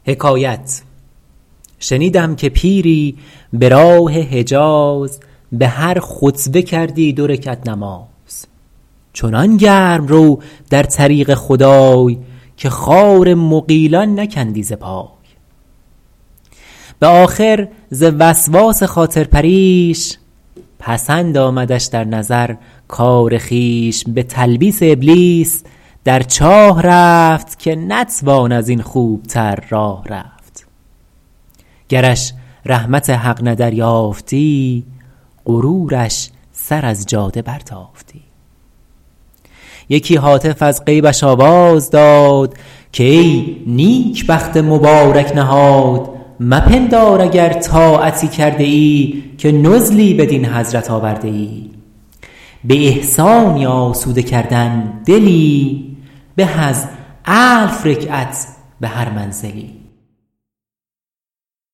شنیدم که پیری به راه حجاز به هر خطوه کردی دو رکعت نماز چنان گرم رو در طریق خدای که خار مغیلان نکندی ز پای به آخر ز وسواس خاطر پریش پسند آمدش در نظر کار خویش به تلبیس ابلیس در چاه رفت که نتوان از این خوب تر راه رفت گرش رحمت حق نه دریافتی غرورش سر از جاده برتافتی یکی هاتف از غیبش آواز داد که ای نیکبخت مبارک نهاد مپندار اگر طاعتی کرده ای که نزلی بدین حضرت آورده ای به احسانی آسوده کردن دلی به از الف رکعت به هر منزلی